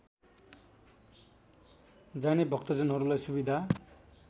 जाने भक्तजनहरूलाई सुविधा